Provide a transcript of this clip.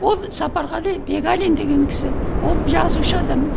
ол сапарғали бегалин деген кісі ол жазушы адам